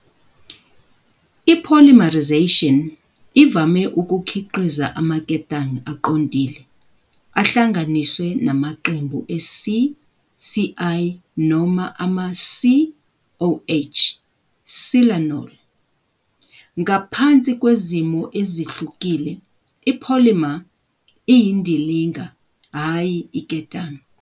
I-polymerization ivame ukukhiqiza amaketanga aqondile ahlanganiswe namaqembu e-Si-Cl noma ama-Si-OH, silanol, Ngaphansi kwezimo ezihlukile, i-polymer iyindilinga, hhayi iketanga.